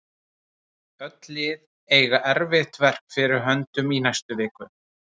Öll lið eiga erfitt verk fyrir höndum í næstu viku.